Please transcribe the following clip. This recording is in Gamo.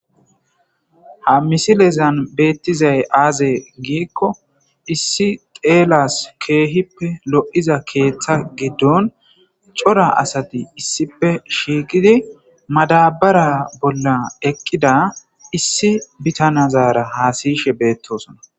ha misilezan beettizay aaze giikko issi xeelas keehippe lo'iza keeththa giddon cora asati issippe shiiqidi madabara bolla eqqida issi bitanazaara haasiyshe beettosona